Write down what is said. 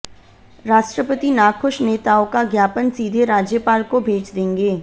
राष्ट्रपति नाखुश नेताओं का ज्ञापन सीधे राज्यपाल को भेज देंगे